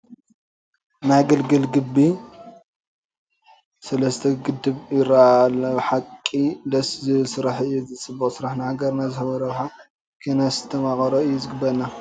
ናይ ግልገል ግቢ 3 ግድብ ይርአ ኣሎ፡፡ ብሓቂ ደስ ዝብል ስራሕ እዩ፡፡ እዚ ፅቡቕ ስራሕ ንሃገርና ዝህቦ ረብሓ ክነስተማቕሮ እዩ ዝግብአና፡፡